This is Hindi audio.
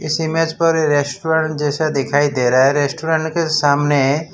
इस इमेज पर रेस्टोरेंट जैसा दिखाई दे रहा है रेस्टोरेंट के सामने --